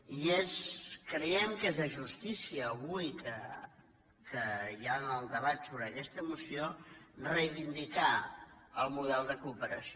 i creiem que és de justícia avui que hi ha el debat sobre aquesta moció reivindi car el model de cooperació